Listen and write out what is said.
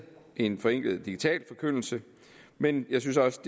en forenklet digital forkyndelse men jeg synes også